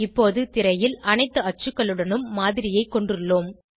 இப்போது திரையில் அனைத்து அச்சுகளுடனும் மாதிரியைக் கொண்டுள்ளோம்